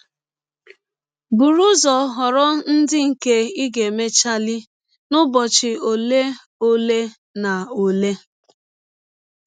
Bụrụ ụzọ họrọ ndị nke ị ga - emechali n’ụbọchị ọle um ọle um na ọle um. um